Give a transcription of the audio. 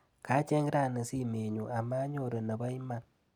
Kacheng rani simenyu amanyoru nebo iman.